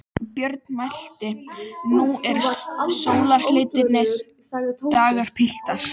Björn mælti: Nú eru sólarlitlir dagar, piltar!